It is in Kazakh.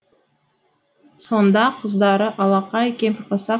сонда қыздары алақай кемпірқосақ